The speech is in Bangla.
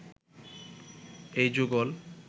এই যুগল